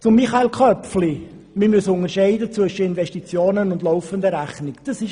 Zu Michael Köpfli und seiner Aussage, wir müssten zwischen Investitionen und laufender Rechnung unterscheiden.